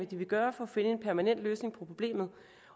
den vil gøre for at finde en permanent løsning på problemet